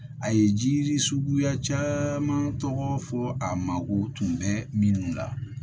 A ye jiri suguya caman tɔgɔ fɔ a mago tun bɛ minnu la